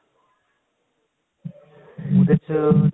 ਉਹਦੇ ਚ